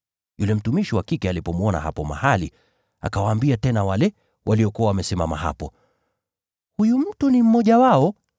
Yule mtumishi wa kike alipomwona mahali pale, akawaambia tena wale waliokuwa wamesimama hapo, “Huyu mtu ni mmoja wao.”